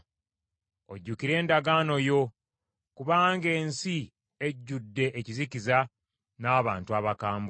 Ojjukire endagaano yo; kubanga ensi ejjudde ekizikiza n’abantu abakambwe.